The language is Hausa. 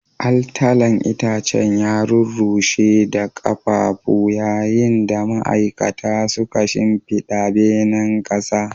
Altalan itacen ya rurrushe da ƙafafu, yayin da ma'aikata suka shimfiɗa benen ƙasa.